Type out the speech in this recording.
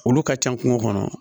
Olu ka ca kungo kɔnɔ